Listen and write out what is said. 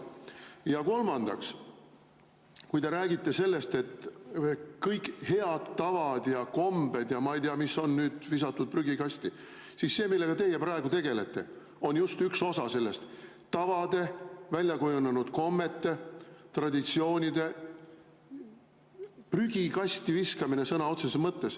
Ja kolmandaks, kui te räägite sellest, et kõik head tavad ja kombed ja ma ei tea mis on nüüd visatud prügikasti, siis see, millega teie praegu tegelete, on just üks osa sellest: tavade, väljakujunenud kommete, traditsioonide prügikasti viskamine sõna otseses mõttes.